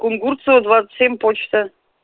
кунгурцева двадцать семь почта